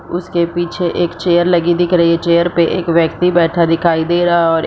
उसके पीछे एक चेयर लगी दिख रही है चेयर पे एक व्यक्ति बैठ दिखाई दिख रहा है और --